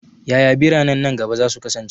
Yaya biranen nan gaba za su kasance?